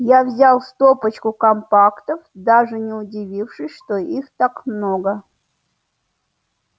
я взял стопочку компактов даже не удивившись что их так много